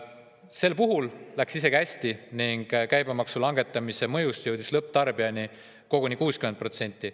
Sel puhul läks isegi hästi ning käibemaksu langetamise mõjust jõudis lõpptarbijani koguni 60%.